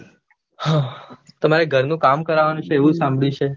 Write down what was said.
તમારે ઘરનું કામ કરાવાનું છે સાંભળ્યું છે.